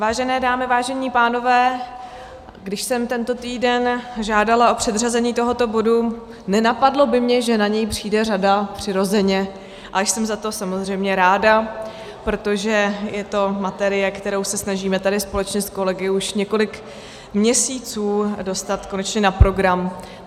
Vážené dámy, vážení pánové, když jsem tento týden žádala o předřazení tohoto bodu, nenapadlo by mě, že na něj přijde řada přirozeně, a jsem za to samozřejmě ráda, protože je to materie, kterou se snažíme tady společně s kolegy už několik měsíců dostat konečně na program.